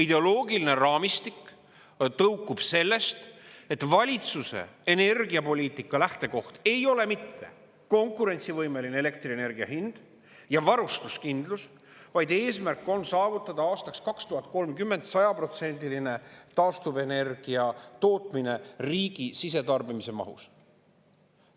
Ideoloogiline raamistik tõukub sellest, et valitsuse energiapoliitika lähtekoht ei ole mitte konkurentsivõimeline elektrienergia hind ja varustuskindlus, vaid eesmärk on saavutada aastaks 2030 sajaprotsendiline taastuvenergia tootmine riigi sisetarbimise mahus.